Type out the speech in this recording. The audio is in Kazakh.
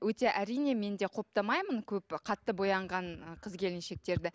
өте әрине мен де құптамаймын көп қатты боянған қыз келіншектерді